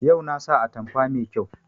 Yau na sa atamfa mai kyau